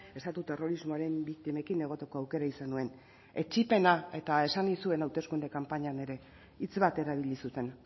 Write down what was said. estatu terrorismoaren biktimekin egoteko aukera izan nuen etsipena eta esan nizuen hauteskunde kanpainan ere hitz bat erabili zuten